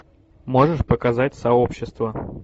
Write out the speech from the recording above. можешь показать сообщество